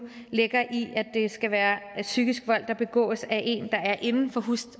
ligger i at det skal være psykisk vold der begås af en der er inden for